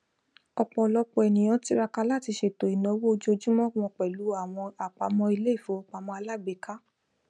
ọ̀pọ̀lọpọ̀ ènìyàn tiraka láti ṣèto ìnáwó ojojúmọ́ wọ́n pẹ̀lù àwọn àpamọ́ ilé ìfowópamọ́ aláàgbéká